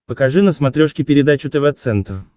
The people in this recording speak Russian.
покажи на смотрешке передачу тв центр